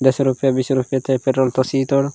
दस रुपिया बीस रुपिया तय पेट्रोल प सी तोर ।